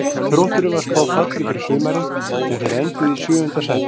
Þrótturum var spáð falli fyrir sumarið en þeir enduðu í sjöunda sæti.